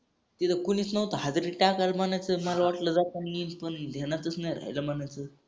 तिथ कोणीस नवत हाजरी टाकायला मनाच मला वाटल जातानी इथून द्यानातस नाही राहील मनाच.